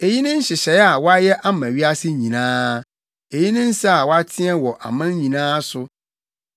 Eyi ne nhyehyɛe a wɔayɛ ama wiase nyinaa; eyi ne nsa a wɔateɛ wɔ aman nyinaa so.